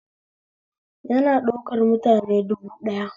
Yana ɗaukar mutane dubu ɗaya